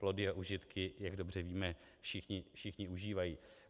Plody a užitky, jak dobře víme, všichni užívají.